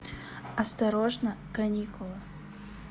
осторожно каникулы